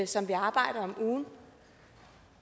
som vi arbejder